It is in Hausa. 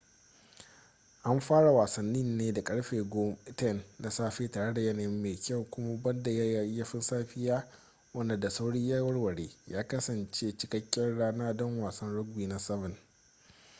an fara wasannin ne da karfe 10:00 na safe tare da yanayi mai kyau kuma banda yayyafin safiya wanda da sauri ya warware ya kasance cikakkiyar rana don wasan rugby na 7